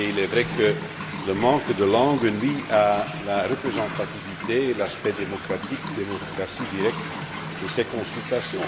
Il est vrai que le manque de langues nuit à la représentativité et à l'aspect démocratie directe de ces consultations.